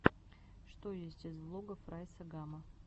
что есть из влогов райса гама